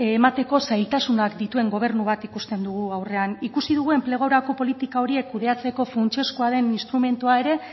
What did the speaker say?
emateko zailtasunak dituen gobernu bat ikusten dugu aurrean ikusi dugu enplegurako politika horiek kudeatzeko funtsezkoa den instrumentua ere